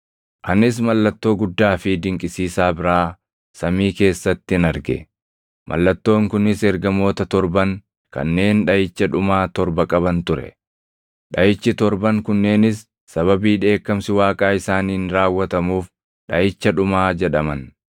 Anis mallattoo guddaa fi dinqisiisaa biraa samii keessattin arge; mallattoon kunis ergamoota torban kanneen dhaʼicha dhumaa torba qaban ture; dhaʼichi torban kunneenis sababii dheekkamsi Waaqaa isaaniin raawwatamuuf dhaʼicha dhumaa jedhaman.